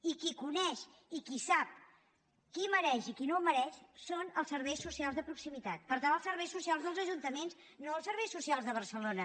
i qui coneix i qui sap qui ho mereix i qui no ho mereix són els serveis socials de proximitat per tant els serveis socials dels ajuntaments no els serveis socials de barcelona